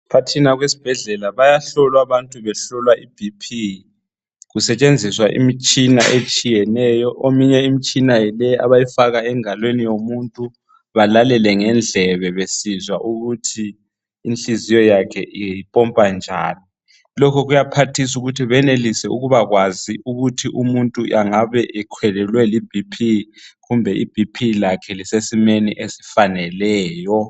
Phakathi esibhedlela bayahlolwa abantu behlolwa iBP kusetshenziswa imitshina etshiyeneyo. Eminye imitshina yileyi abayifaka engalweni yomuntu balalele ngendlebe besizwa ukuthi inhliziyo yakhe ipompa njani. Lokhu kuyaphathisa ukuthi benelise ukubakwazi ukuthi umuntu engabeiBP yakhe ikhwelile loba isesimeni esifaneleyo.